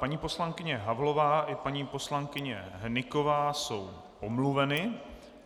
Paní poslankyně Havlová i paní poslankyně Hnyková jsou omluveny.